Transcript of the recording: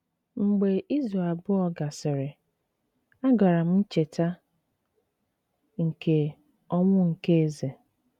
Mgbe izu abụọ gasịrị, agara m Ncheta nke Ọnwụ nke Eze